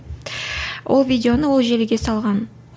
ол видеоны ол желіге салған